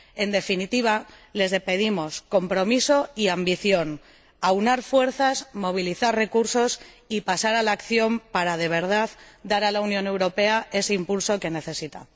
En definitiva, les pedimos compromiso y ambición, aunar fuerzas, movilizar recursos y pasar a la acción para, de verdad, dar a la Unión Europea ese impulso que necesita.